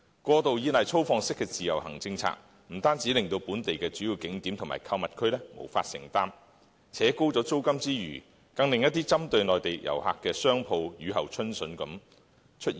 過度依賴粗放式的自由行政策，不單令本地的主要景點和購物區無法承擔，拉高租金之餘，更令一些針對內地遊客的商鋪如雨後春筍般出現。